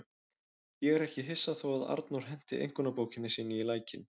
Ég er ekki hissa þó að Arnór henti einkunnabókinni sinni í lækinn.